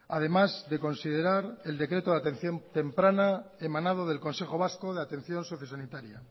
además de considerar el decreto de atención temprana emanado del consejo vasco de atención sociosanitaria